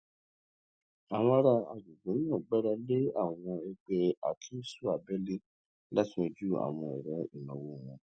àwọn ará agbègbè náà gbára lé àwọn ẹgbẹ akéésú àbẹlé láti yanjú àwọn ọrọ ìnáwó wọn